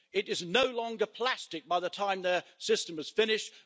It is no longer plastic by the time their system is finished.